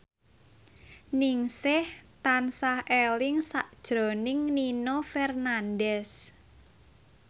Ningsih tansah eling sakjroning Nino Fernandez